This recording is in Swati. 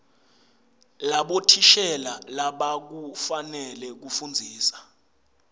labothishela labakufanele kufundzisa